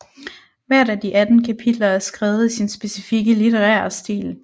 Hvert af de 18 kapitler er skrevet i sin specifikke litterære stil